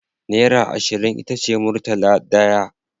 Naira ashirin itace murtala daya